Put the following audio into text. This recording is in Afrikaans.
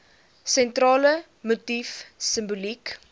sentrale motief simboliek